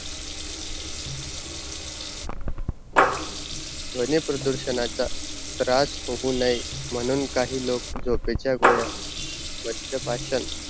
ध्वनी प्रदूरषणाचा त्रास होवू नए, म्हणून काही लोक झोपेच्या गोळ्या, माद्या पाषाण